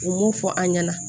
U m'o fɔ an ɲɛna